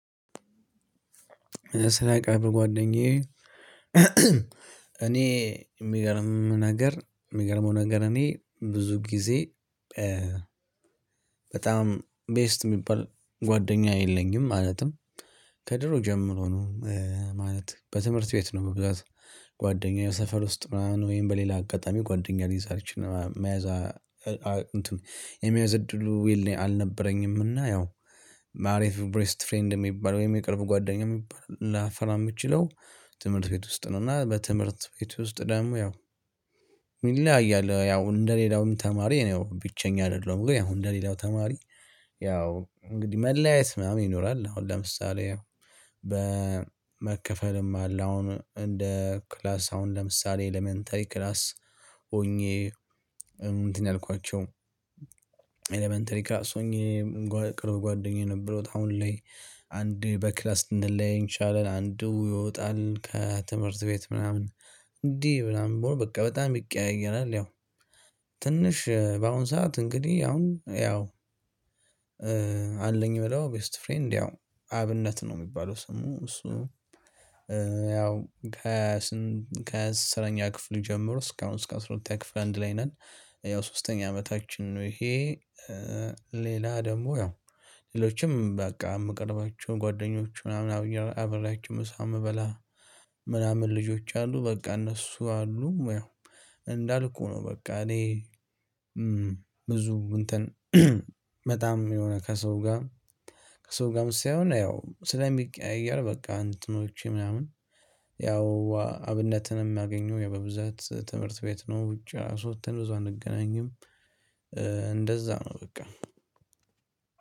ስለ ቅርብ ጓደኛዬ። እኔ ሚገርም ነገር ሚገርመው ነገር እኔ ብዙ ጊዜ። በጣም ቤስት የሚባል ጓደኛ የለኝም። ማለትም ከድሮ ጀምሮ ነው። ማለት በትምህርት ቤት ነው በብዛት ጓደኛዬ ሰፈር ውስጥ ምናምን ወይም በሌላ አጋጣሚ ጓደኛ ሊይዝ አልችልም መያዝ የሚመያዝ እድሉ አልነበረኝም። እና ያው። ማለት ቤስት ፍሬንድ የሚባል ወይም የቅርብ ጓደኛ የሚባል ላፈራ የምችለው ትምህርት ቤት ውስጥ ነው። እና በትምህርት ቤት ውስጥ ደግሞ ያው። ይለያያል ያው እንደሌላውም ተማሪ ነው ብቸኛ አይደለም። ግን ያው እንደሌላው ተማሪ ያው እንግዲህ መለያየት ምናምን ይኖራል። አሁን ለምሳሌ። በመከፈልም አለ አሁን እንደ ክላስ አሁን ለምሳሌ ኤለመንተሪ ክላስ ሆኜ እንትን ያልኳችሁ ኤለመንተሪ ክላስ ሆኜ ቅርብ ጓደኛዬ የነበሩት አሁን ላይ አንድ በክላስ ልንለያይ እንችላለን አንድ ይወጣል ከትምህርት ቤት ምናምን እንዴ ምናምን በቃ በጣም ይቀያየራል ያው። ትንሽ በአሁን ሰዓት እንግዲህ አሁን ያው አለኝ ብለው ቤስት ፍሬንድ ያው አብነት ነው የሚባለው ስሙ እሱ። ያው ከአስረኛ ክፍል ጀምሮ እስካሁን እስከ አስራ ሁለተኛ ክፍል አንድ ላይ ነን። ያው ሶስተኛ አመታችን ነው ይሄ። ሌላ ደግሞ ያው ሌሎችም በቃ የምቀርባቸው ጓደኞች ምናምን አብራቸው ምሳ ምበላ። ምናምን ልጆች አሉ በቃ እነሱ አሉ። እንዳልኩህ ነው በቃ እኔ ብዙ እንትን በጣም የሆነ ከሰው ጋር። ከሰው ጋር ሳይሆን እና ያው ስለሚቀያየር በቃ እንትኖቼ ምናምን ያው አብነትን የሚያገኘው በብዛት ትምህርት ቤት ነው። ውጪ አስወጥን ብዙ አንገናኝም። እንደዛ ነው በቃ።